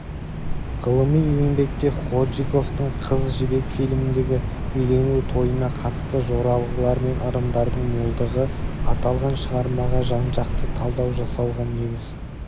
ғылыми еңбекте ходжиковтың қыз жібек фильміндегі үйлену тойына қатысты жоралғылар мен ырымдардың молдығы аталған шығармаға жан-жақты талдау жасауға негіз